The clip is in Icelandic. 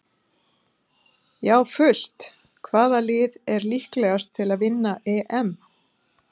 Já fullt Hvaða lið er líklegast til að vinna EM?